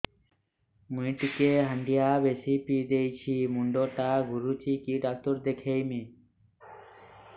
ମୁଇ ଟିକେ ହାଣ୍ଡିଆ ବେଶି ପିଇ ଦେଇଛି ମୁଣ୍ଡ ଟା ଘୁରୁଚି କି ଡାକ୍ତର ଦେଖେଇମି